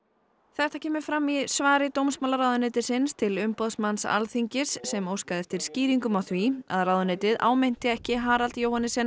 þetta kemur fram í svari dómsmálaráðuneytisins til umboðsmanns Alþingis sem óskaði eftir skýringum á því að ráðuneytið áminnti ekki Harald